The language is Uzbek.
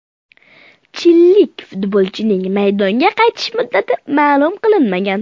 Chililik futbolchining maydonga qaytish muddati ma’lum qilinmagan.